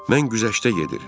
Mən güzəştə gedir.